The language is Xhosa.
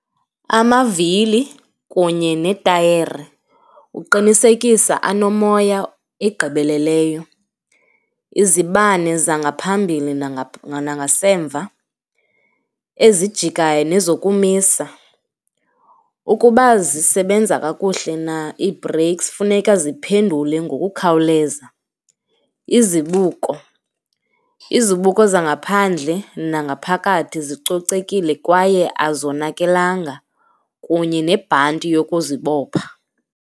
Amavili kunye netayeri uqinisekisa anomoya egqibeleleyo, izibane zangaphambili nangasemva ezijikayo nezokumisa. Ukuba zisebenza kakuhle na iibhreyiksi funeka ziphendule ngokukhawuleza. Izibuko, izibuko zangaphandle nangaphakathi zicocekile kwaye azonakelanga kunye nebhanti yokuzibopha.